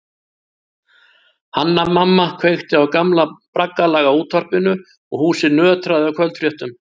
Hanna-Mamma kveikti á gamla braggalaga útvarpinu og húsið nötraði af kvöldfréttum.